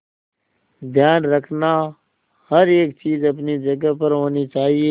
ध्यान रखना हर एक चीज अपनी जगह पर होनी चाहिए